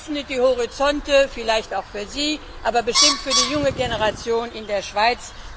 Das öffnet die Horizonte, vielleicht auch für sie, aber bestimmt für die junge Generation in der Schweiz.